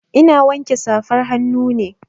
Ina wanke safar hannu ne.